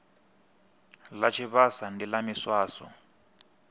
ḽa tshivhasa ndi ḽa miswaswo